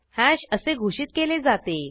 hash असे घोषित केले जाते